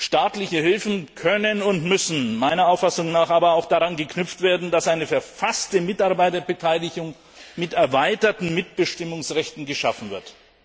Staatliche Hilfen können und müssen meiner Auffassung nach aber auch daran geknüpft werden, dass eine verfasste Mitarbeiterbeteiligung mit erweiterten Mitbestimmungsrechten geschaffen wird.